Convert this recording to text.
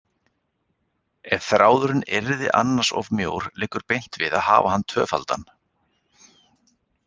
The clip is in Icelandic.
Ef þráðurinn yrði annars of mjór liggur beint við að hafa hann tvöfaldan.